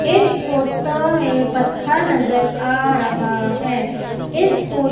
इस फोटो में पत्थर नजर आ रहा है इस फो--